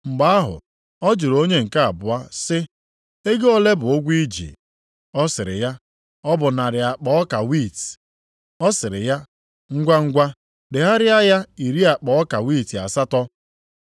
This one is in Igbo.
“Mgbe ahụ, ọ jụrụ onye nke abụọ sị, ‘Ego ole bụ ụgwọ i ji?’ “Ọ sịrị ya, ‘Ọ bụ narị akpa ọka wiiti.’ “Ọ sịrị ya, ‘Ngwangwa degharịa ya iri akpa ọka wiiti asatọ.’